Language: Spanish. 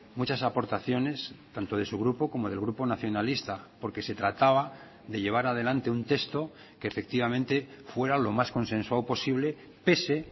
muchas aportaciones tanto de su grupo como del grupo nacionalista porque se trataba de llevar adelante un texto que efectivamente fuera lo más consensuado posible pese